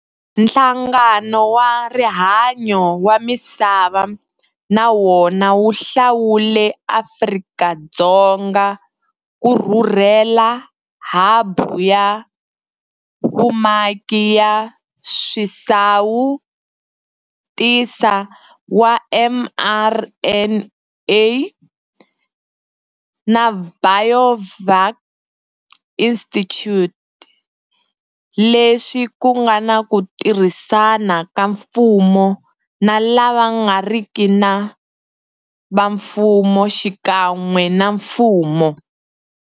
Nhlangano wa Rihanyo wa Misava na wona wu hlawule Afrika-Dzonga ku rhurhela habu ya vumaki ya swisawutisi swa mRNA na Biovac Institute, leswi ku nga na ku tirhisana ka mfumo na lava nga riki va mfumo xikan'we na mfumo.